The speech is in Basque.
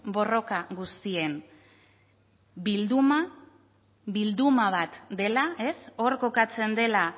borroka guztien bilduma bat dela ez hor kokatzen dela